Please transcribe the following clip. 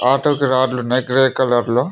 ఆటోకి రాడ్లు ఉన్నాయ్ గ్రే కలర్లో .